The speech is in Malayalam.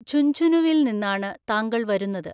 ഝുഞ്ഝുനുവിൽ നിന്നാണു താങ്കൾ വരുന്നത്.